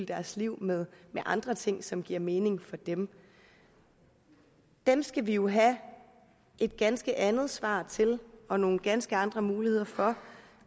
deres liv med andre ting som giver mening for dem dem skal vi jo have et ganske andet svar til og nogle ganske andre muligheder for